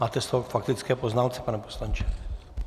Máte slovo k faktické poznámce, pane poslanče.